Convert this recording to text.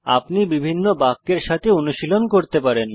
আপনি বিভিন্ন বাক্যের সাথে অনুশীলন করতে পারেন